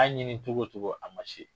Ka ɲini cogo cogo a ma se.